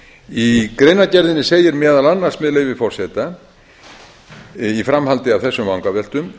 í greinargerðinni segir meðal annars með leyfi forseta í framhaldi af þessum vangaveltum